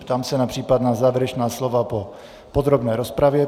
Ptám se na případná závěrečná slova po podrobné rozpravě.